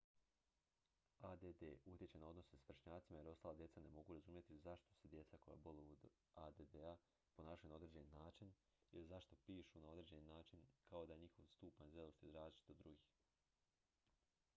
add utječe na odnose s vršnjacima jer ostala djeca ne mogu razumjeti zašto se djeca koja boluju od add-a ponašaju na određeni način ili zašto pišu na određeni način kao ni da je njihov stupanj zrelosti različit od drugih